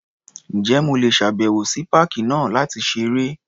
Ǹjẹ́ mo lè ṣàbẹ̀wò sí páàkì náà láti ṣeré?